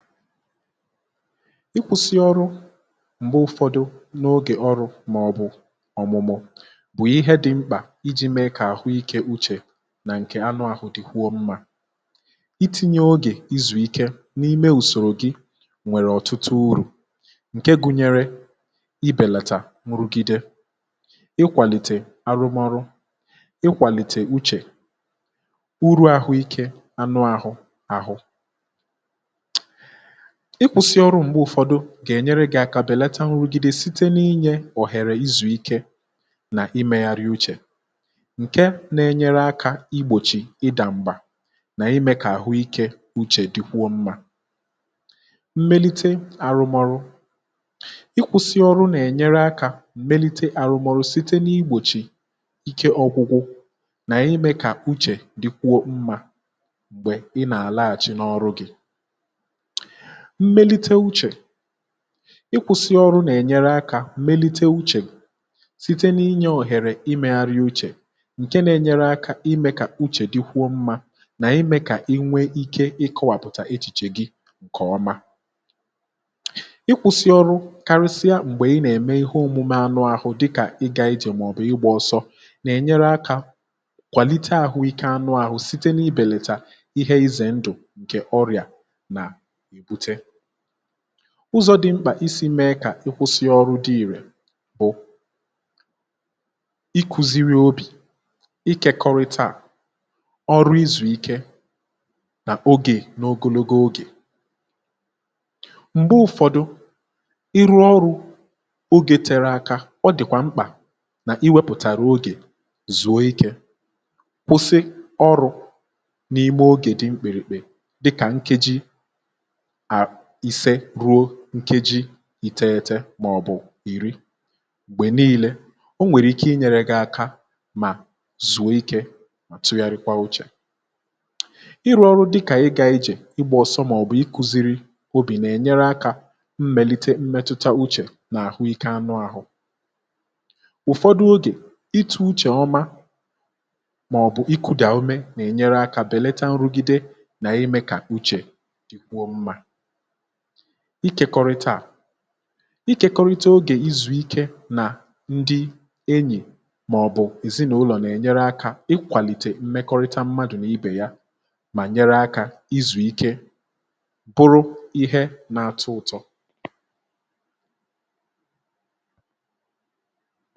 Ịkwụ̇sị ọrụ m̀gbe ụ̀fọdụ n’ogè ọrụ màọ̀bụ̀ ọ̀mụ̀mụ̀ ihe dị̇ mkpà iji mee kà àhụ ikė uchè nà ǹkè anụahụ̀ dị̀ kwụọ mmȧ, itinye ogè izùike n’ime ùsòrò gị nwèrè ọ̀tụtụ urù ǹke gụnyere ibèlàtà nrugide, ikwàlìtè arụmọrụ, ikwàlìtè uchè, uru̇ àhụikė anụahụ̀, um ịkwụ̇sị ọrụ m̀gbe ụ̀fọdụ gà-ènyere gị aka bèlata nrugide site n’inyė ọ̀hèrè izù ike nà imegharị uchè, ǹke nȧ-ėnyere akȧ igbòchì ịdà m̀bà nà ime kà àhụ ikė uchè dịkwuo mmȧ, mmelite àrụmọrụ ịkwụ̇sị ọrụ nà-ènyere akȧ mmelite àrụmọrụ site n’igbòchì ike ọ̀gwụgwụ nà-ime kà uchè dịkwuo mmȧ, um m̀gbè ị nà-àlàhàchi n’ọrụ gị, mmelite uchè, ịkwụsị ọrụ nà-ènyere akȧ mmelite uchè site n’inyė òhèrè imė gharịa uchè, ǹke nȧ-enyere akȧ imė kà uchè dịkwuo mmȧ, nà ime kà inwe ikė ịkọwàpụ̀tà echìchè gị ǹkè ọma, ịkwụsị ọrụ kàrusia m̀gbè ị nà-ème ihe òmụmȧ anụ ahụ̇ dịkà ịgȧ ijè màọ̀bụ̀ ịgbȧ ọsọ, um nà-ènyere akȧ kwàlite àhụ ike anụ ahụ̇ site n’ibèlètà ihe ize ndụ̀ ǹkè ọrịà ụzọ̇ dị mkpà, isi̇ mee kà ị kwụsịe ọrụ dị irė bụ̀ iku̇ziri obì, ikėkọrịta à ọrụ izùike nà ogè n’ogologo ogè, m̀gbe ụfọdụ iru ọrụ̇ ogė tere aka ọ dị̀kwà mkpà nà i wepụ̀tara ogè zụ̀o ikė, kwụsị ọrụ̇ n’ime ogè dị mkpịrị̀kpị̀, dịkà nkeji ise ruo nkeji ị̀ tẹẹtẹ màọ̀bụ̀ ìri, gbè niilė, um o nwèrè ike inyẹ̇rẹ̇ gị̇ aka, mà zuo ikė àtụgharịkwa uchè ịrụ̇ ọrụ, dịkà ị gȧ ijè igbȧ ọ̀sọ màọ̀bụ̀ iku̇ziri̇ obì, nà-ènyere akȧ mmèlite mmetụta uchè nà àhụike anụ ȧhụ̇, ụ̀fọdụ ogè itu̇ uchè ọma màọ̀bụ̀ iku̇ dị̀ àmụme nà-ènyere akȧ bèleta nrugide, nà ịmẹ̇ kà uchè ikekọrịta à ikėkọrịta ogè izuike nà ndị enyì, màọ̀bụ̀ èzịnụlọ, nà-ènyere akȧ ikwàlìtè mmekọrịta mmadụ̀ nà ibè ya, um mà nyere akȧ izùike bụrụ ihe na-atọ ụ̀tọ.